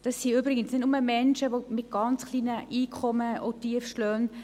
Dies sind übrigens nicht nur Menschen mit ganz kleinen Einkommen und Tiefstlöhnen;